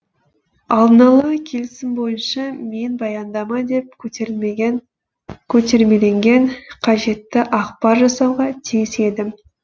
алдынала келісім бойынша мен баяндама деп көтермеленген қажетті ақпар жасауға тиіс едім